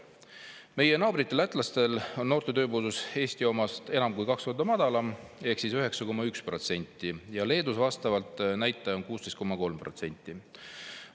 Meie naabritel lätlastel on noorte tööpuudus Eesti omast enam kui kaks korda madalam ehk 9,1%, Leedus on vastav näitaja 16,3%.